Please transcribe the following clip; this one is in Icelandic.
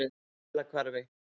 Fellahvarfi